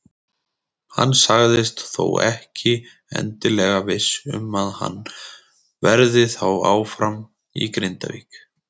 Hann sagðist þó ekki endilega viss um að hann verði þá áfram í Grindavík.